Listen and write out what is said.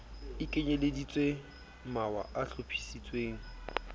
o kenyeleditseng mawa a hlophisitsweng